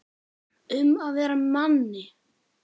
Um að vera Manni!